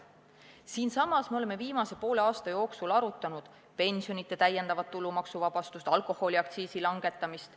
Me oleme siinsamas viimase poole aasta jooksul arutanud ka pensionide täiendavat tulumaksuvabastust ja alkoholiaktsiisi langetamist.